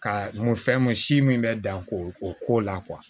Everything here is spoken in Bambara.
Ka mun fɛn mun si min bɛ dan ko o ko la